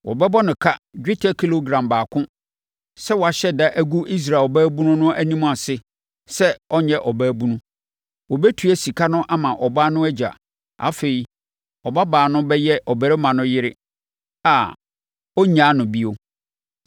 Wɔbɛbɔ no ka dwetɛ kilogram baako sɛ wahyɛ da agu Israel ɔbaabunu no anim ase sɛ ɔnyɛ ɔbaabunu. Wɔbɛtua sika no ama ɔbaa no agya. Afei, ɔbabaa no bɛyɛ ɔbarima no yere a ɔrennyaa no bio.